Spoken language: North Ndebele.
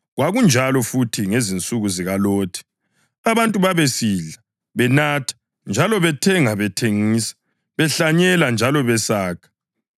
Kwakunjalo futhi ngezinsuku zikaLothi. Abantu babesidla, benatha, njalo bethenga, bethengisa, behlanyela njalo besakha.